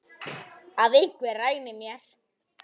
Að einhver ræni mér.